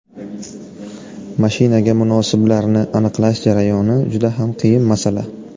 Mashinaga munosiblarni aniqlash jarayoni juda ham qiyin masala.